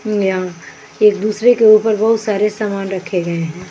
एक दूसरे के ऊपर बहोत सारे समान रखे गए हैं।